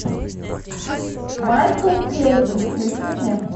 майкл клейтон включи мне